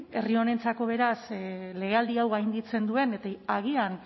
herri honentzako beraz legealdi hau gainditzen duen eta agian